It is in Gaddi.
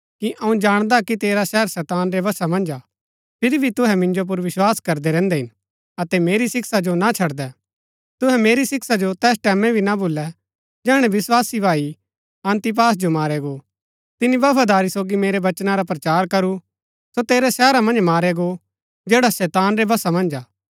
अऊँ जाणदा हा कि तेरा शहर शैतान रै वशा मन्ज हा फिरी भी तुहै मिन्जो पुर विस्वास करदै रैहन्दै हिन अतै मेरी शिक्षा जो ना छड़दै तुहै मेरी शिक्षा जो तैस टैमैं भी ना भूलै जैहणै विस्वासी भाई अन्तिपास जो मारया गो तिनी बफादारी सोगी मेरै वचना रा प्रचार करू सो तेरै शहरा मन्ज मारया गो जैड़ा शैतान रै वशा मन्ज हा